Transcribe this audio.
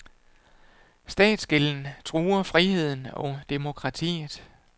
Statsgælden truer friheden og demokratiet.